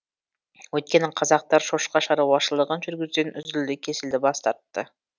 өйткені қазақтар шошқа шаруашылығын жүргізуден үзілді кесілді бас тартты